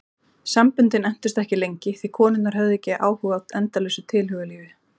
Samböndin entust ekki lengi því konurnar höfðu ekki áhuga á endalausu tilhugalífi.